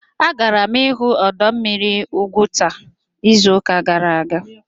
Agara m ịhụ ọdọ mmiri Ugwuta izụka gara aga